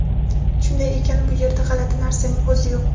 Shunday ekan, bu yerda g‘alati narsaning o‘zi yo‘q.